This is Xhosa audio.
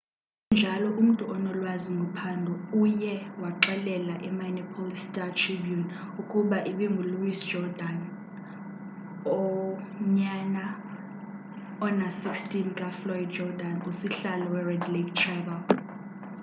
sekunjalo umntu onolwazi ngophando uye waxelela i-minneapolis star-tribune ukuba ibingu-louis jourdain unyana ona-16 kafloyd jourdan usihlalo we-red lake tribal